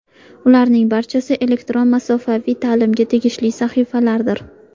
Ularning barchasi elektron masofaviy ta’limga tegishli sahifalardir.